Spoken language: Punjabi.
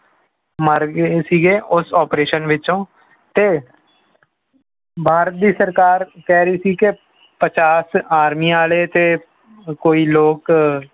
ਮਰ ਗਏ ਸੀਗੇ ਉਸ operation ਵਿੱਚੋਂ ਤੇ ਭਾਰਤ ਦੀ ਸਰਕਾਰ ਕਹਿ ਰਹੀ ਸੀ ਕਿ ਪਚਾਸ ਆਰਮੀ ਵਾਲੇ ਤੇ ਕੋਈ ਲੋਕ